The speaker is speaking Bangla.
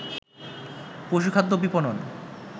পশুখাদ্য বিপণন